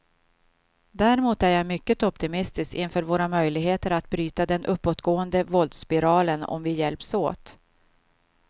Däremot är jag mycket optimistisk inför våra möjligheter att bryta den uppåtgående våldsspiralen om vi hjälps åt.